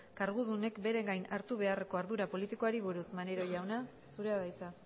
kargudunek bere gain hartu beharreko ardura politikoari buruz maneiro jauna zurea da hitza